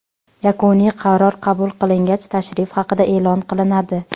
Yakuniy qaror qabul qilingach, tashrif haqida e’lon qilinadi.